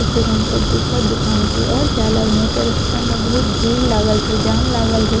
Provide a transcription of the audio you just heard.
ते फिर हम सब दोसर दुकान के और जाय लागलो ते रस्ता में बहुत भीड़ लागल रहे जाम लागल रहे।